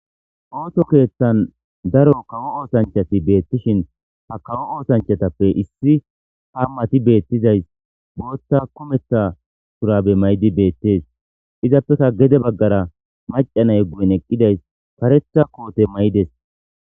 osso kethani daro kawo ossanichoti betishin ha kawo osanichot nam'ati betidayis botha kumetha shurabe mayidi betesi izapeka gede baggara eqidayi macca na'e guyen karetha kote mayides.